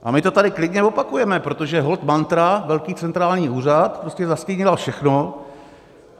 A my to tady klidně opakujeme, protože holt mantra - velký centrální úřad - prostě zastínila všechno.